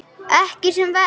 Ekki sem verst?